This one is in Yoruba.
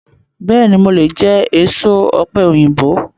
Bẹ́ẹ̀ni, mo lè jẹ èso ọ̀pẹ̀yìnbo.